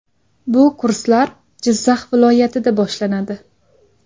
Bu kurslar Jizzax viloyatida boshlanadi.